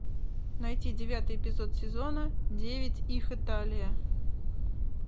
найти девятый эпизод сезона девять их италия